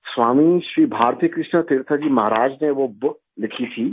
سوامی شری بھارتی کرشن تیرتھ جی مہاراج نے وہ بُک لکھی تھی